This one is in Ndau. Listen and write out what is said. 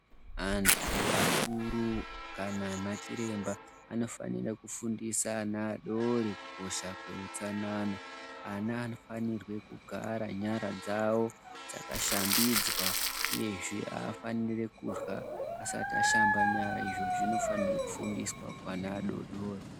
Antu akuru kana anachiremba anofanira kufundisa ana adori kukosha kweutsanana. Ana anofanirwe kugara kugara nyara dzavo dzakashambidzwa uyezve haafaniri kurya asat ashamba nyara. Izvo zvinofanirwe kufundiswa kuana adori-dori.